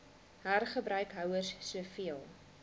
hergebruik houers soveel